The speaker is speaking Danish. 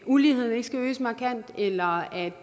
uligheden ikke skal øges markant eller at